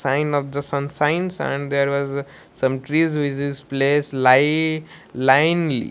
sign of the sunshines and there was uh some trees place li linely.